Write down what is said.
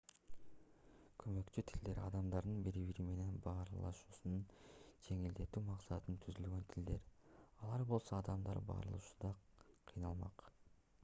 көмөкчү тилдер адамдардын бири-бири менен баарлашуусун жеңилдетүү максатында түзүлгөн тилдер алар болбосо адамдар баарлашууда кыйналмак